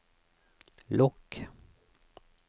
lukk